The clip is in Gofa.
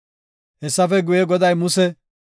Hessafe guye, Goday Muse,